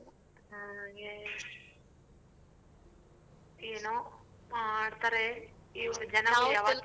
ಹ್ಮ್ ಏನೋ ಮಾಡ್ತಾರೆ ಈ ಒಂದು ಜನ.